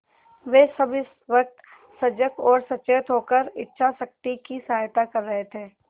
वे सब इस वक्त सजग और सचेत होकर इच्छाशक्ति की सहायता कर रहे थे